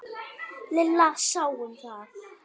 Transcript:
Lilla sá um það.